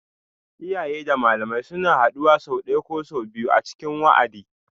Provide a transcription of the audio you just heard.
Iyaye da malamai suna haduwa sau ɗaya ko sau biyu a cikin wa'adi